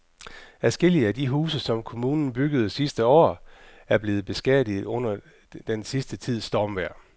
Adskillige af de huse, som kommunen byggede sidste år, er blevet beskadiget under den sidste tids stormvejr.